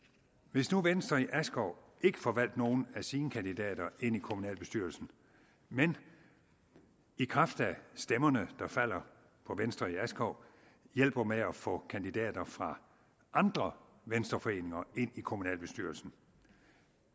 hvis nu venstre i askov ikke får valgt nogen af sine kandidater ind i kommunalbestyrelsen men i kraft af stemmerne der falder på venstre i askov hjælper med at få kandidater fra andre venstreforeninger ind i kommunalbestyrelsen